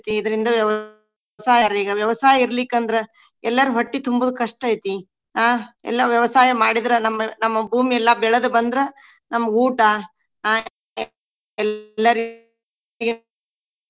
ಇದ್ರಿಂದ ವ್ಯವಸಾಯ ಈಗ ವ್ಯವಸಾಯ ಇರ್ಲಿಕ್ಕ ಅಂದ್ರ ಎಲ್ಲರ ಹೊಟ್ಟಿ ತುಂಬುದ್ ಕಷ್ಟ ಐತಿ. ಆಹ್ ಎಲ್ಲಾ ವ್ಯವಸಾಯ ಮಾಡಿದ್ರ ನಮ್ಮ ನಮ್ಮ ಭೂಮಿಯೆಲ್ಲಾ ಬೆಳದ ಬಂದ್ರ ನಮ್ಗ ಊಟಾ .